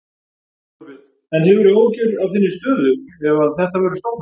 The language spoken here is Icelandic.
Þorbjörn: En hefurðu áhyggjur af þinni stöðu ef að þetta verður stofnað?